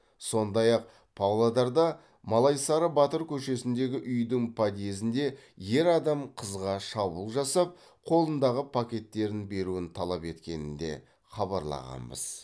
сондай ақ павлодарда малайсары батыр көшесіндегі үйдің подъезінде ер адам қызға шабуыл жасап қолындағы пакеттерін беруін талап еткенін де хабарлағанбыз